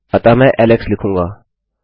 अतः मैं एलेक्स लिखूँगा